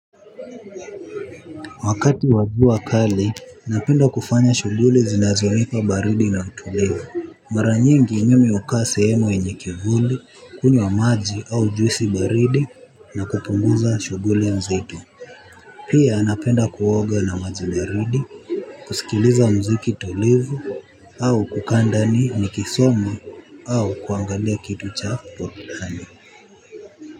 Wakati wajua kali, napenda kufanya shughuli zinazonipa baridi na utulivu. Mara nyingi, mimi hukaa sehemu yenye kivuli, hunywa maji au juisi baridi na kupunguza shughuli mzito. Pia, napenda kuoga na maji baridi, kusikiliza mziki tulivu, au kukaa ndani, nikisoma, au, kuangalia kitu cha, pothani.